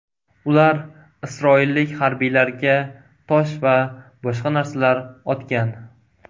Ular isroillik harbiylarga tosh va boshqa narsalar otgan.